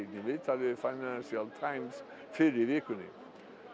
í viðtali við Financial Times fyrr í vikunni